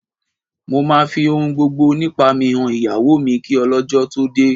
Mo máa fi ohun gbogbo nípa mi han ìyàwó mi kí ọlọ́jọ́ tó dé